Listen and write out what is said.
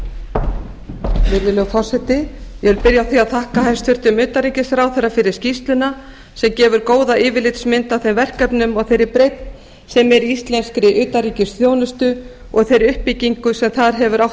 virðulegur forseti ég vil byrja á því að þakka hæstvirtum utanríkisráðherra fyrir skýrsluna sem gefur góða yfirlitsmynd af þeim verkefnum og þeirri breidd sem er í íslenskra utanríkisþjónustu og þeirri uppbyggingu sem þar hefur átt